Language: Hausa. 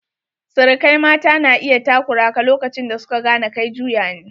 Sirikai mata na iya takura ka lokacin da su ka gane kai juya ne.